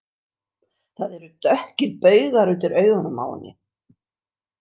Það eru dökkir baugar undir augunum á henni.